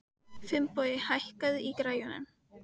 Finnbogi, hækkaðu í græjunum.